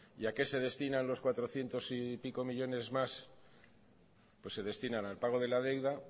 y a qué se destinan los cuatrocientos y pico millónes más pues se destinan al pago de la deuda